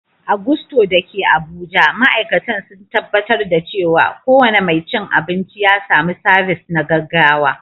A Gusto da ke Abuja, ma’aikatan sun tabbatar da cewa kowane mai cin abinci ya samu sabis na gaggawa.